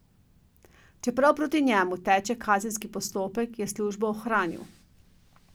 Čeprav proti njemu teče kazenski postopek, je službo ohranil.